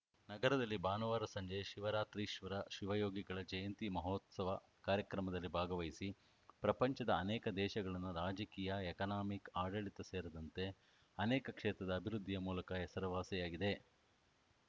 ನಗರದಲ್ಲಿ ಭಾನುವಾರ ಸಂಜೆ ಶಿವರಾತ್ರೀಶ್ವರ ಶಿವಯೋಗಿಗಳ ಜಯಂತಿ ಮಹೋತ್ಸವ ಕಾರ್ಯಕ್ರಮದಲ್ಲಿ ಭಾಗವಹಿಸಿ ಪ್ರಪಂಚದ ಅನೇಕ ದೇಶಗಳನ್ನು ರಾಜಕೀಯ ಎಕನಾಮಿಕ್‌ ಆಡಳಿತ ಸೇರಿದಂತೆ ಅನೇಕ ಕ್ಷೇತ್ರದ ಅಭಿವೃದ್ಧಿಯ ಮೂಲಕ ಹೆಸರುವಾಸಿಯಾಗಿವೆ